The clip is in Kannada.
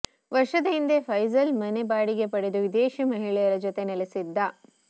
ವರ್ಷದ ಹಿಂದೆ ಫೈಜಲ್ ಮನೆ ಬಾಡಿಗೆ ಪಡೆದು ವಿದೇಶಿ ಮಹಿಳೆಯರ ಜತೆ ನೆಲೆಸಿದ್ದ